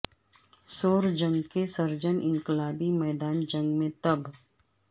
civil جنگ کے surgeon انقلابی میدان جنگ میں طب